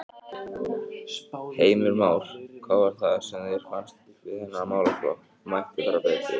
Heimir Már: Hvað var það sem þér fannst við þennan málaflokk að mætti fara betur?